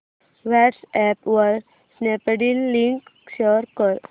WhatsApp वर Snapdeal link share कर